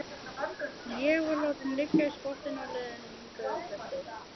Ég var látinn liggja í skottinu á leiðinni hingað uppeftir.